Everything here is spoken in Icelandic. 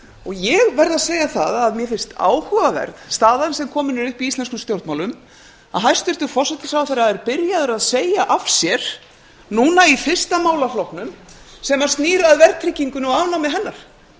ég verð að segja að mér finnst áhugaverð staðan sem komin er upp í íslenskum stjórnmálum að hæstvirtur forsætisráðherra er byrjaður að segja af sér núna í fyrsta málaflokknum sem snýr að verðtryggingunni og afnámi hennar